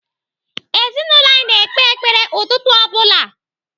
Ezinaụlọ anyị na-ekpe ekpere ụtụtụ ọ bụla.